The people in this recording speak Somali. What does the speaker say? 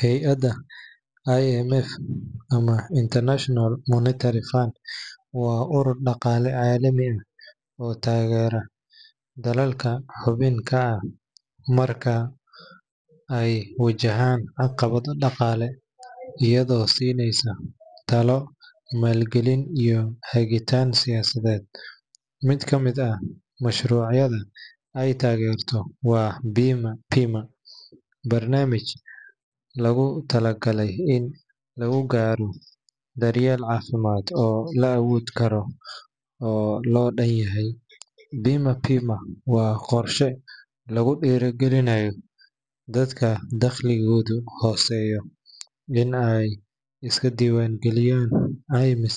Hey’adda IMF ama International Monetary Fund waa urur dhaqaale caalami ah oo taageera dalalka xubin ka ah marka ay wajahaan caqabado dhaqaale, iyadoo siinaysa talo, maalgelin iyo hagitaan siyaasadeed. Mid ka mid ah mashruucyada ay taageerto waa Bima Pima, barnaamij loogu talagalay in lagu gaaro daryeel caafimaad oo la awoodi karo oo loo dhan yahay. Bima Pima waa qorshe lagu dhiirrigelinayo dadka dakhligoodu hooseeyo in ay iska diiwaangeliyaan caymis